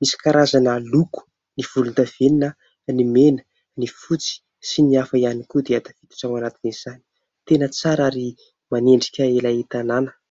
Misy karazana loko : ny volondavenona, ny mena, ny fotsy sy ny hafa ihany koa dia tafiditra ao anatiny izany . Tena tsara ary manendrika ilay tanàna.